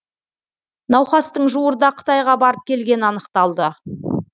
науқастың жуырда қытайға барып келгені анықталды